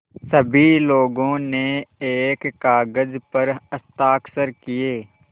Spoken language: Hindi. सभी लोगों ने एक कागज़ पर हस्ताक्षर किए